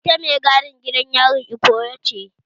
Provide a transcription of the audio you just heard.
Ita mai gadin gidan yarin Ikoyi ce